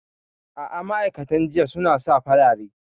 A'a, ma'aikatan jinya suna sa farare.